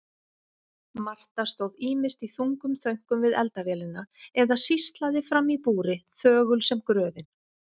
Marta stóð ýmist í þungum þönkum við eldavélina eða sýslaði framí búri þögul sem gröfin.